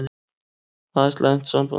Það er slæmt samband.